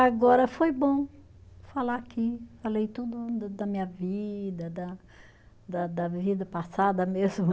Agora foi bom falar aqui, falei tudo da da minha vida, da da da vida passada mesmo.